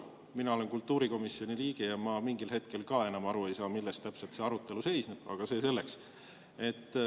Mina olen kultuurikomisjoni liige ja ma mingil hetkel ka enam ei saa aru, milles täpselt see arutelu seisneb, aga see selleks.